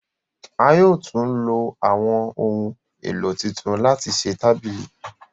a yóò tún ló àwọn ohùn èlò títún láti ṣe tábìlì